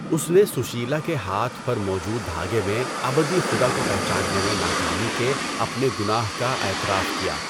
اس نے سشیلہ کے ہاتھ پر موجود دھاگے میں ابدی خدا کو پہچاننے میں ناکامی کے اپنے گناہ کا اعتراف کیا۔